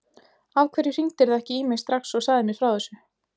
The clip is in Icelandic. Af hverju hringdirðu ekki í mig strax og sagðir mér frá þessu?